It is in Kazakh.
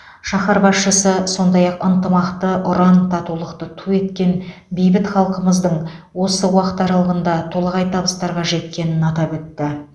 шаһар басшысы сондай ақ ынтымақты ұран татулықты ту еткен бейбіт халқымыздың осы уақыт аралығында толағай табыстарға жеткенін атап өтті